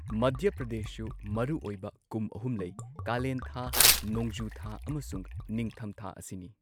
ꯃꯙ꯭ꯌ ꯄ꯭ꯔꯗꯦꯁꯁꯨ ꯃꯔꯨꯑꯣꯏꯕ ꯀꯨꯝ ꯑꯍꯨꯝ ꯂꯩ ꯀꯥꯂꯦꯟ ꯊꯥ, ꯅꯣꯡꯖꯨ ꯊꯥ ꯑꯃꯁꯨꯡ ꯅꯤꯡꯊꯝ ꯊꯥ ꯑꯁꯤꯅꯤ꯫